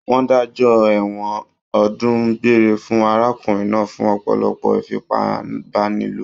Wọ́n dájọ́ ẹ̀wọ̀n ọdún gbére fún arákùnrin náà fún ọ̀pọ̀lọpọ̀ ìfipábánilò.